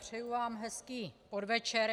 Přeju vám hezký podvečer.